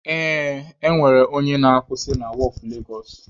Ee, ọ nwere onye na-akwusị na wọọfụ Legosụ.